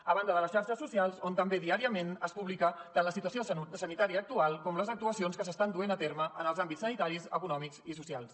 a banda de les xarxes socials on també diàriament es publica tant la situació sanitària actual com les actuacions que s’estan duent a terme en els àmbits sanitaris econòmics i socials